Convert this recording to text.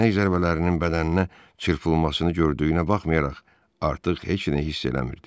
Dəyənək zərbələrinin bədəninə çırpılmasını gördüyünə baxmayaraq, artıq heç nə hiss eləmirdi.